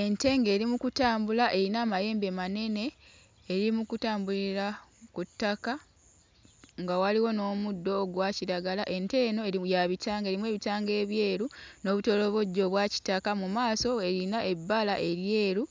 Ente ng'eri mu kutambula eyina amayembe manene, eri mu kutambulira ku ttaka nga waliwo n'omuddo ogwa kiragala. Ente eno eri ya bitanga erimu ebitanga ebyeru n'obutolobojjo obwa kitaka, mu maaso eyina ebbala eryeru